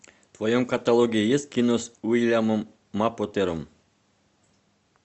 в твоем каталоге есть кино с уильямом мапотером